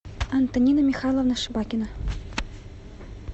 антонина михайловна шибакина